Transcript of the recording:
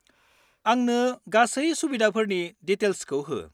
आंनो गासै सुबिदाफोरनि डिटेल्सखौ हो।